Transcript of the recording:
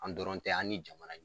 An dɔrɔn tɛ an ni jamana